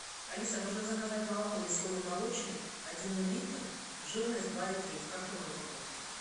алиса нужно заказать молоко веселый молочник один литр жирность два и три в картонной упаковке